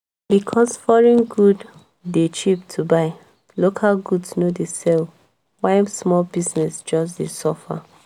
because foreign good dey cheap to buy local goods no dey sell why small business just dey suffer.